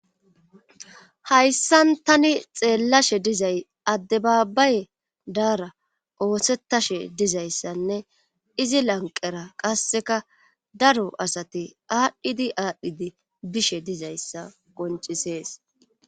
Hayssan tani xeelaida dizay adababaye dara oosetashe dizayssanne izi lanqqera qassekka daro asati aadhidi aadhidi dishe dizayssa qonccisees.